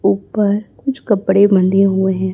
ऊपर कुछ कपड़े बंधे हुए हैं।